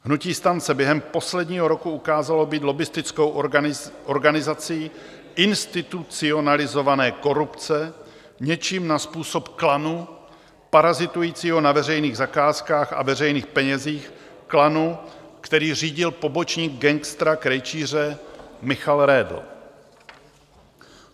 Hnutí STAN se během posledního roku ukázalo být lobbistickou organizací institucionalizované korupce, něčím na způsob klanu parazitujícího na veřejných zakázkách a veřejných penězích, klanu, který řídil pomocník gangstera Krejčíře Michal Redl.